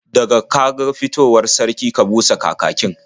Da ka ga fitowar sarki, ka busa kakakin.